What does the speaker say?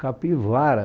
Capivara.